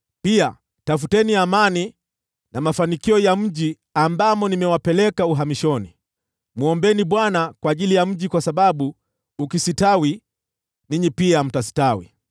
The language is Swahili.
Pia tafuteni amani na mafanikio ya mji ambamo nimewapeleka uhamishoni. Mwombeni Bwana kwa ajili ya mji huo, kwa sababu ukistawi, ninyi pia mtastawi.”